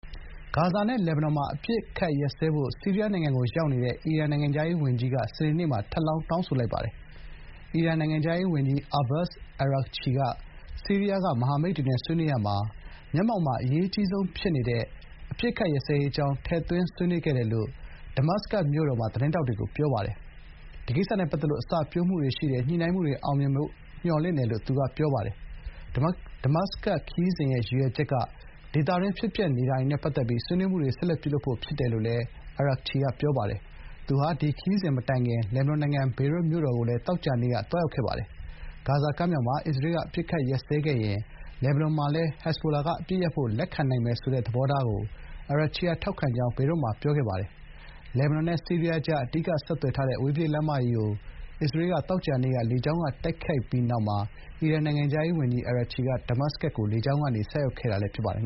ဂါဇာနဲ့ လက်ဘနွန် မှာ အပစ်အခတ် ရပ်စဲဖို့ ဆီးရီးယား နိုင်ငံကို ရောက်နေတဲ့ အီရန် နိုင်ငံခြားရေးဝန်ကြီးက စနေနေ့မှာ ထပ်လောင်း တောင်းဆိုလိုက်ပါတယ်။ အီရန်နိုင်ငံခြားရေးဝန်ကြီး အာဘတ်စ် အာရာဂ်ချီ (Abbas Araghchi) က ဆီးရီးယားက မဟာမိတ်တွေ ဆွေးနွေးရာမှာ မျက်မှောက်မှာ အရေးကြီးဆုံး ဖြစ်နေတဲ့ အပစ်အခတ်ရပ်စဲရေး အကြောင်း ထည့်သွင်းဆွေးနွေးခဲ့တယ်လို့ ဒမတ်စကတ်မြို့တော်မှာ သတင်းထောက်တွေကို ပြောပါတယ်။ “ဒီကိစ္စနဲ့ ပတ်သက်လို့ အစပျိုးမှုတွေ ရှိတယ်၊ ညှိနှိုင်းမှုတွေ အောင်မြင်မယ်ဖို့ မျှော်လင့်တယ်” လို့ သူက ပြောပါတယ်။ “ဒမတ်စကတ် ခရီးစဉ်ရဲ့ ရည်ရွယ်ချက်က ဒေသတွင်း ဖြစ်ပျက်နေတာတွေနဲ့ ပတ်သက်ပြီး ဆွေးနွေးမှုတွေ ဆက်လက်ပြုလုပ်ဖို့ ဖြစ်ပါတယ်” လို့ အာရာဂ်ချီက ပြောပါတယ်။ သူဟာ ဒီခရီးစဉ်မတိုင်ခင် လက်ဘနွန်နိုင်ငံ ဘေရွတ်မြို့တော်ကိုလည်း သောကြာနေ့က သွားရောက်ခဲ့တာပါ။ ဂါဇာကမ်းမြောင်မှာ အစ္စရေးက အပစ်အခတ်ရပ်စဲခဲ့ရင် လက်ဘနွန်မှာလည်း ဟဇ်ဘိုလာက အပစ်ရပ်ဖို့ လက်ခံနိုင်မယ် ဆိုတဲ့ သဘောထားကို အာရာဂ်ချီက ထောက်ခံ ကြောင်း ဘေရွတ်မှာ ပြောကြားခဲ့ပါတယ်။ လက်ဘနွန်နဲ့ ဆီးရီးယားကြား အဓိက ဆက်သွယ် ထားတဲ့ အဝေးပြေး လမ်းမကြီး အစ္စရေးက သောကြာနေ့က လေကြောင်းတိုက်ခိုက်ပြီးနောက်မှာ အီရန် နိုင်ငံခြားရေးဝန်ကြီး အာရာဂ်ချီက ဒမတ်စကတ်ကို လေကြောင်းကနေ ဆိုက်ရောက်ခဲ့တာလည်း ဖြစ်ပါတယ်